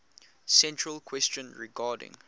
central question regarding